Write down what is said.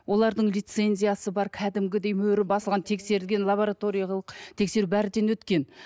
олардың лицензиясы бар кәдімгідей мөрі басылған тексерілген лабораториялық тексеру бәрінен өткен